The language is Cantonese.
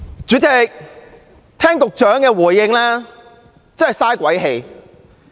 主席，聽局長的回應，簡直是白費心機。